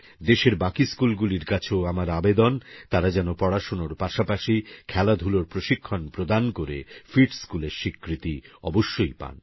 দেশের বাকি স্কুলগুলির কাছেও আমার আবেদন তারা যেন পড়াশোনার পাশাপাশি খেলাধুলোর প্রশিক্ষণ প্রদান করে ফিট স্কুল এর স্বীকৃতি অবশ্যইপায়